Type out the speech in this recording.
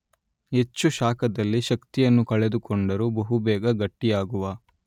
ಹೆಚ್ಚು ಶಾಖದಲ್ಲಿ ಶಕ್ತಿಯನ್ನು ಕಳೆದುಕೊಂಡರೂ ಬಹುಬೇಗ ಗಟ್ಟಿಯಾಗುವ